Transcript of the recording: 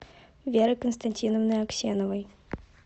веры константиновны аксеновой